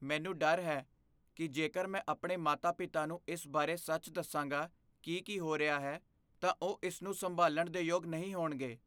ਮੈਨੂੰ ਡਰ ਹੈ ਕੀ ਜੇਕਰ ਮੈਂ ਆਪਣੇ ਮਾਤਾ ਪਿਤਾ ਨੂੰ ਇਸ ਬਾਰੇ ਸੱਚ ਦੱਸਾਂਗਾ ਕੀ ਕੀ ਹੋ ਰਿਹਾ ਹੈ, ਤਾਂ ਉਹ ਇਸ ਨੂੰ ਸੰਭਾਲਣ ਦੇ ਯੋਗ ਨਹੀਂ ਹੋਣਗੇ